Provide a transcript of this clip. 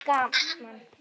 Þetta verður gaman